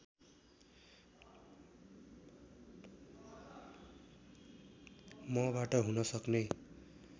मबाट हुन सक्ने